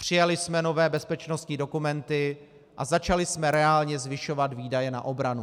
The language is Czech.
Přijali jsme nové bezpečnostní dokumenty a začali jsme reálně zvyšovat výdaje na obranu.